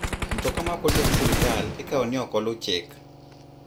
Mtoka ma ok ondiki gi sirkal ikaw ni ok olu chik.